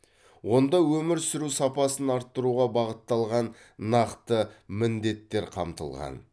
онда өмір сүру сапасын арттыруға бағытталған нақты міндеттер қамтылған